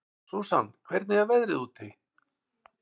Susan, hvernig er veðrið úti?